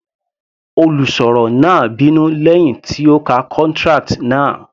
Olùsọ̀rọ̀ náà bínú lẹ́hìn tí ó ka contract náà.